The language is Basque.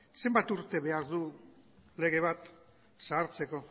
zenbat urte behar du lege bat zahartzeko